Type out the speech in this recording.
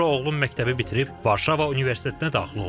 Sonra oğlum məktəbi bitirib Varşava Universitetinə daxil oldu.